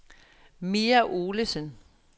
Mia Olesen